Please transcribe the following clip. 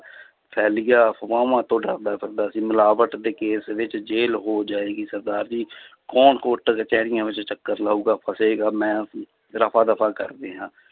ਫੈਲ ਗਿਆ ਅਫ਼ਵਾਹਾਂ ਤੋਂ ਡਰਦਾ ਫਿਰਦਾ ਸੀ ਮਿਲਾਵਟ ਦੇ ਕੇਸ ਵਿੱਚ ਜ਼ੇਲ੍ਹ ਹੋ ਜਾਏਗੀ ਸਰਦਾਰ ਜੀ ਕੌਣ ਕੋਰਟ ਕਚਿਹਰੀਆਂ ਵਿੱਚ ਚੱਕਰ ਲਾਊਗਾ, ਫਸੇਗਾ ਮੈਂ ਰਫ਼ਾ ਦਫ਼ਾ ਕਰਦੇ ਹਾਂ।